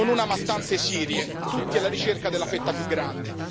non una, ma tante Sirie, tutti alla ricerca della fetta più grande.